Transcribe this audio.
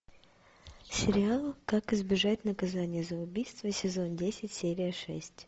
сериал как избежать наказания за убийство сезон десять серия шесть